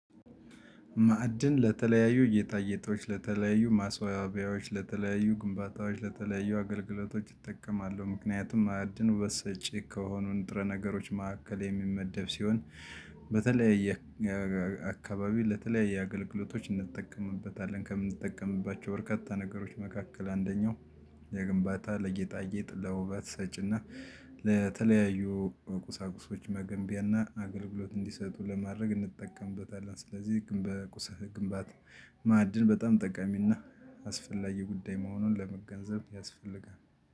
ማዕድን ለተለያዩ ጌጣጌጥ ለተለያዩ ማስዋቢያዎች ለተለያዩ ግንባታዎች ለተለያዩ አገልግሎቶች እጠቀማለሁ ምክንያቱም ማዕድን ውበት ሰጪ ከሆኑ ንጥረ ነገሮች መካከል የሚመደብ ሲሆን። በተለይ አካባቢ ለተለይ አገልግሎቶች እንጠቀምበታለን። ከምንጠቀምባቸው በርካታ ነገሮች መካከል አንደኛው የግንባታ ለጌጣጌጥ ውበት ሰጪና ለተለያዩ ቁሳቁሶች መገንቢያና አገልግሎት እንዲሰጡ ለማድረግ እንጠቀምበታለን። ስለዚህ ግንባታ ማዕድን በጣም ጠቀሚና አስፈላጊ ጉዳይ መሆኑን ለመገንዘብ ያስፈልጋል